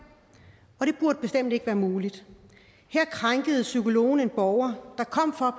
og det burde bestemt ikke være muligt her krænkede psykologen en borger der kom for